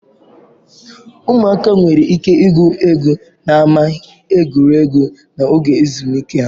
Ụmụaka nwere ike igwu egwu n'ámá egwuregwu n'oge ezumike ha.